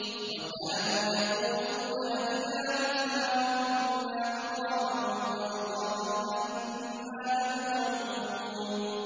وَكَانُوا يَقُولُونَ أَئِذَا مِتْنَا وَكُنَّا تُرَابًا وَعِظَامًا أَإِنَّا لَمَبْعُوثُونَ